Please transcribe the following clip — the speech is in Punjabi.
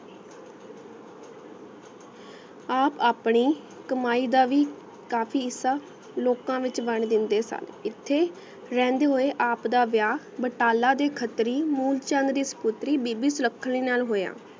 ਆਪ ਅਪਨੀ ਕਮਾਈ ਦਾ ਵੀ ਕਾਫੀ ਹਿਸਾ ਲੋਕਾ ਵਿਚ ਵੰਡ ਦਿੰਦੀ ਸਾ ਇਹਤੇ ਰਹਿੰਦੇ ਹੋਏ ਆਪ ਦਾ ਵਿਆਹ ਬਟਾਲਾ ਦੀ ਖਤ੍ਰੀ ਮੂਨ ਚੰਦ ਦੀ ਸ ਪੁਤ੍ਰੀ ਬੀਬੀ ਸੁਲੱਖਣੀ ਨਾਲ ਹੋਯਾ